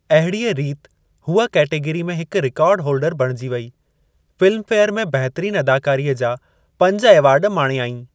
अहिड़ीअ रीति हूअ केटेगरी में हिक रिकार्ड होलडर बणिजी वेई। फ़िल्म फे़यर में बहितरीनु अदाकारीअ जा पंज एवार्ड माणयाईं।